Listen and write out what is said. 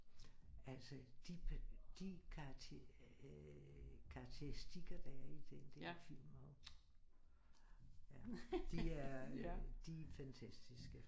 Altså de karakteristika der er i den der film og ja de er de er fantastiske